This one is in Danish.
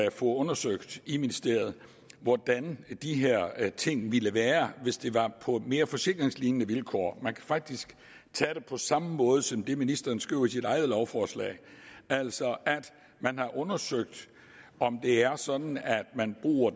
at få undersøgt i ministeriet hvordan de her her ting ville være hvis det var på mere forsikringslignende vilkår man kan faktisk tage det på samme måde som det ministeren skriver i sit eget lovforslag altså at man har undersøgt om det er sådan at